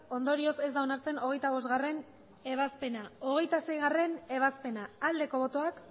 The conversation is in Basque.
ondorioz ez da onartzen hogeita bostgarrena ebazpena hogeita seigarrena ebazpena aldeko botoak